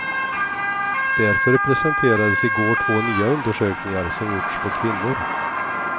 Därför presenterades i går två nya undersökningar som gjorts på kvinnor.